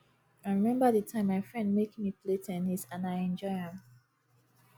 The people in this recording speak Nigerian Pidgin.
i remember the time my friend make me play ten nis and i enjoy am